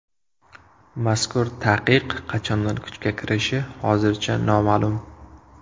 Mazkur taqiq qachondan kuchga kirishi hozircha noma’lum.